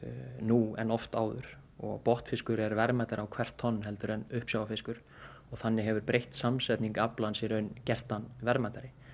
nú en oft áður og botnfiskur er verðmætari á hvert tonn heldur en uppsjávarfiskur þannig hefur breytt samsetning aflans gert hann verðmætari